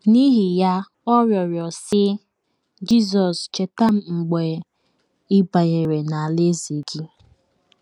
N’ihi ya, ọ rịọrọ, sị: “ Jizọs, cheta m mgbe ị banyere n’alaeze gị. ”